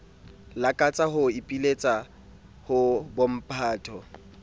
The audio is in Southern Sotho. lakatsa ho ipiletsa ho bomphato